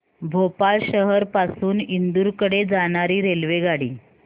भोपाळ शहर पासून इंदूर कडे जाणारी रेल्वेगाडी